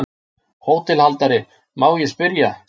HÓTELHALDARI: Má ég spyrja?